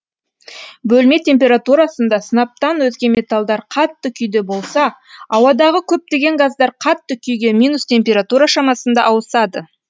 бөлме температурасында сынаптан өзге металдар қатты күйде болса ауадағы көптеген газдар қатты күйге минус температура шамасында ауысады